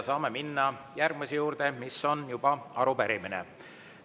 Saame minna järgmise juurde, mis on juba arupärimine.